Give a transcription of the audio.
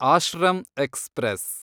ashram express